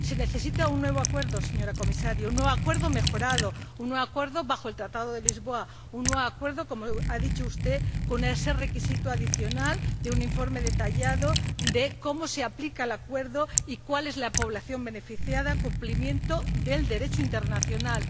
Se necesita un nuevo acuerdo, señora Comisaria, un nuevo acuerdo mejorado, un nuevo acuerdo bajo el Tratado de Lisboa, un nuevo acuerdo —como ha dicho usted— con ese requisito adicional de un informe detallado acerca de cómo se aplica el acuerdo y cuál es la población beneficiada, acerca del cumplimiento del Derecho internacional.